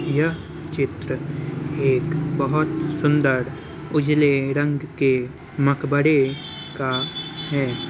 यह चित्र एक बोहत सुन्दर उजले रंग के मक़बरे का है।